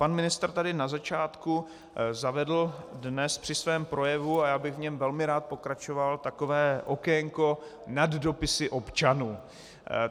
Pan ministr tady na začátku zavedl dnes při svém projevu, a já bych v něm velmi rád pokračoval, takové okénko "Nad dopisy občanů".